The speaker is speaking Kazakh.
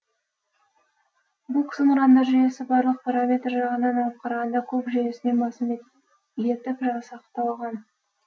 бук зымырандар жүйесі барлық параметрі жағынан алып қарағанда куб жүйесінен басым етіп жасақталған